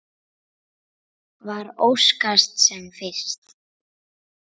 Svar óskast sem fyrst.